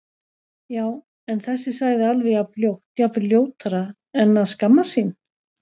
Já- en þessi sagði alveg jafn ljótt, jafnvel ljótara En að skammast sín?